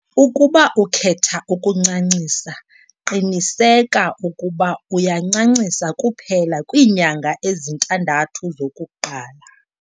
Ukuba ukhetha ukuncancisa, qiniseka ukuba uyancancisa kuphela kwiinyanga ezintandathu zokuqala.